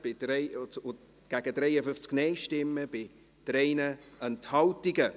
Sie haben diesen Antrag angenommen, mit 93 Ja- gegen 53 Nein-Stimmen bei 3 Enthaltungen.